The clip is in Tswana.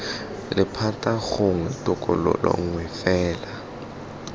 lephata gongwe tokololo nngwe fela